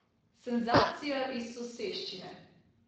Senzacija iz soseščine!